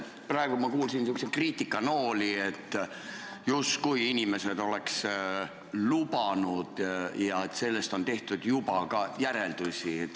Praegu ma kuulsin selliseid kriitikanooli, et justkui inimesed oleks lubanud ja sellest on tehtud juba ka järeldusi.